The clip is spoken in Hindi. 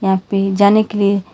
यहां पे जाने के लिए--